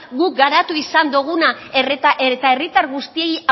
guk garatu izan duguna eta herritar guztiei